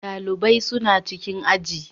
Ɗalibai suna cikin aji.